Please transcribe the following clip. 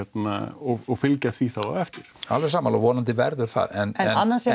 og fylgja því þá á eftir alveg sammála og vonandi verður það en